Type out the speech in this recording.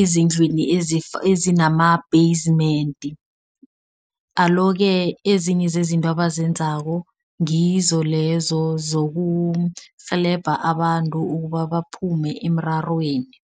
ezindlwini ezinama-basement. Alo-ke ezinye zezinto abazenzako, ngizo lezo zizokurhelebha abantu ukuba baphume emrarweni.